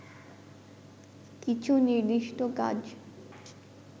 কিছু নির্দিষ্ট কাজ